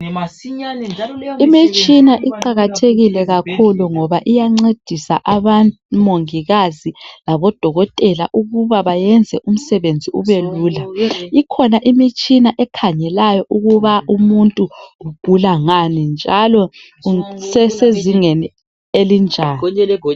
Imitshina iqakathekile kakhulu ngoba iyancedisa omongikazi labodokotela ukuba bayenze umsebenzi ubelula. Ikhona imitshina ekhangela ukuba umuntu ugula ngani njalo kusesezingeni elinjani.